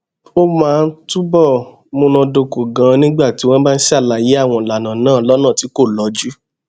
ó máa ń túbò múnádóko ganan nígbà tí wón bá ṣàlàyé àwọn ìlànà náà lónà tí kò lọjú